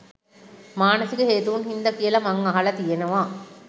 මානසික හේතූන් හින්ද කියල මං අහලා තියෙනව